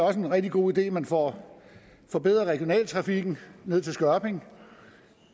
er en rigtig god idé at man får forbedret regionaltrafikken ned til skørping